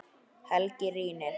Helgi rýnir.